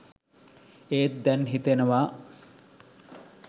ඒත් දැන් හිතෙනවා